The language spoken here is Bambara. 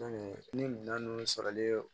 ni minɛn nunnu sɔrɔlen